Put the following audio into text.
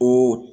Ko